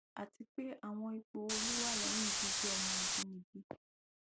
ati pe awọn ipo oorun wa lẹhin gbigbe ọmọ abinibi